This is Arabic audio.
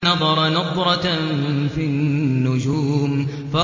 فَنَظَرَ نَظْرَةً فِي النُّجُومِ